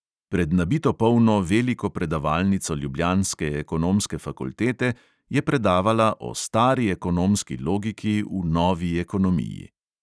Pred nabito polno veliko predavalnico ljubljanske ekonomske fakultete je predavala o "stari ekonomski logiki v novi ekonomiji".